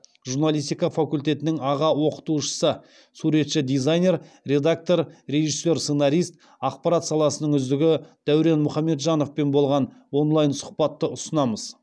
журналистика факультетінің аға оқытушысы суретші дизайнер редактор режиссер сценарист ақпарат саласының үздігі дәурен мұхамеджановпен болған онлайн сұхбатты ұсынамыз